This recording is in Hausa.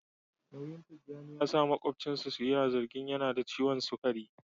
Nauyin Tijjani ya sa makwabcinsa su yi zargin yana da ciwon sukari